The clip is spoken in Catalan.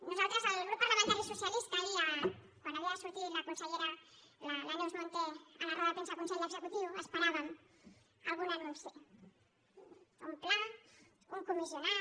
nosaltres el grup parlamentari socialista ahir quan havia de sortir la consellera la neus munté a la roda de premsa del consell executiu esperàvem algun anunci un pla un comissionat